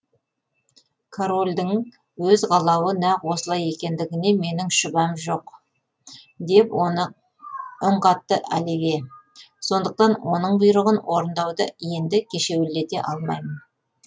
корольдің өз қалауы нақ осылай екендігінде менің мүлде шүбәм жоқ деп үн қатты оливье сондықтан оның бұйрығын орындауды енді кешеуілдете алмаймын